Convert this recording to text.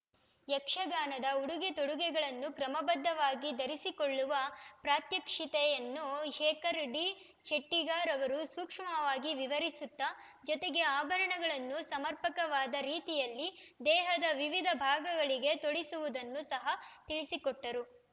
ಯಕ್ಷಗಾನದ ಉಡುಗೆ ತೊಡುಗೆಳನ್ನು ಕ್ರಮಬದ್ಧವಾಗಿ ಧರಿಸಿಕೊಳ್ಳುವ ಪ್ರಾತ್ಯಕ್ಷಿತೆಯನ್ನು ಶೇಖರ್ ಡಿ ಶೆಟ್ಟಿಗಾರ್ ಅವರು ಸೂಕ್ಷ್ಮವಾಗಿ ವಿವರಿಸುತ್ತಾ ಜೊತೆಗೆ ಅಭರಣಗಳನ್ನು ಸಮರ್ಪಕವಾದ ರೀತಿಯಲ್ಲಿ ದೇಹದ ವಿವಿಧ ಭಾಗಗಳಿಗೆ ತೊಡಿಸುವುದನ್ನು ಸಹ ತಿಳಿಸಿಕೊಟ್ಟರು